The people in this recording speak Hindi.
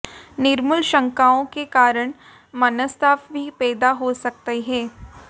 निर्मूल शंकाओं के कारण मनस्ताप भी पैदा हो सकते हैं